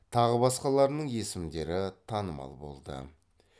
тағы басқаларының есімдері танымал болды